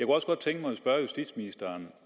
også godt tænke mig at spørge justitsministeren